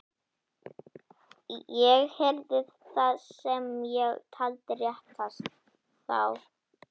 Ég gerði það sem ég taldi réttast. þá.